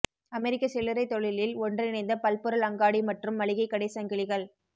அமெரிக்க சில்லறைத் தொழிலில் ஒன்றிணைந்த பல்பொருள் அங்காடி மற்றும் மளிகை கடை சங்கிலிகள்